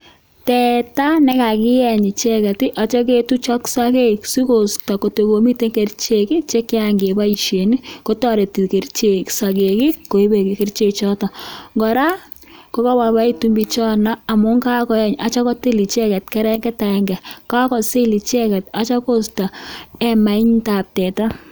Teta ne kakieny icheget ako kakinde sogek siko isto kerchek che kikoboishen ako kora ko boiboen biik chotok amuun kakotil teta